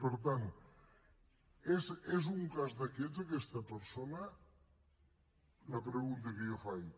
per tant és un cas d’aquests aquesta persona la pregunta que jo faig